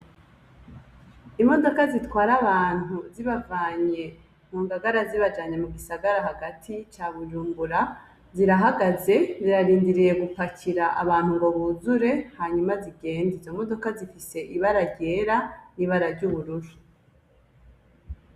Imodoka zitwara abantu zibavanye mu Ngagara zibajanye mu gisagara hagati ca Bujumbura, zirahagaze zirarindiriye gupakira abantu ngo buzure hanyuma zigende, izo modoka zifise ibara ryera n'ibara ry'ubururu.